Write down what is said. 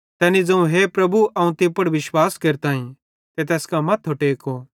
तैनी ज़ोवं हे प्रभु अवं तीं पुड़ विश्वास केरताईं ते तैस कां मथ्थो टेको